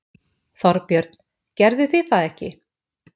Þorbjörn: Gerðuð þið það ekki?